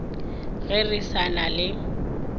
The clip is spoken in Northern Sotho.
ge re sa na le